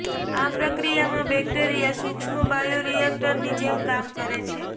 આ પ્રક્રિયામાં બેક્ટેરિયા સૂક્ષ્મ બાયોરિએક્ટરની જેમ કામ કરે છે